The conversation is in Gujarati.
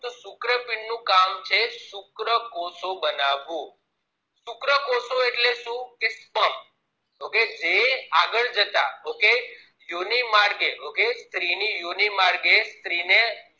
શુક્રપિન્ડ નું કામ છે શુક્રકોશો બનાવવું શુક્રકોશો એટલે કે શું sperm તો કે જે આગળ જતા okay યોની માર્ગે okay સ્ત્રીની યોની માર્ગે સ્ત્રીને